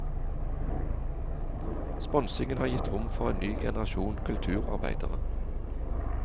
Sponsingen har gitt rom for en ny generasjon kulturabeidere.